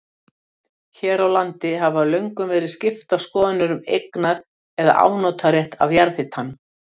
Hér á landi hafa löngum verið skiptar skoðanir um eignar- eða afnotarétt af jarðhitanum.